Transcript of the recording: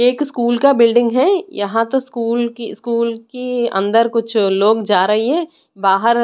एक स्कूल का बिल्डिंग है यहां तो स्कूल की स्कूल की अंदर कुछ लोग जा रही है बाहर --